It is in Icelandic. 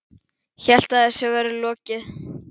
Hélt að þessu væri lokið.